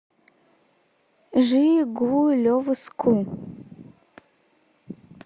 жигулевску